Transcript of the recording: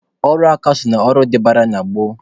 Ọrụ aka so na ọrụ dịbara na gboo.